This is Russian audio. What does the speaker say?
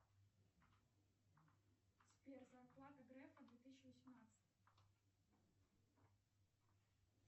сбер зарплата грефа две тысячи восемнадцать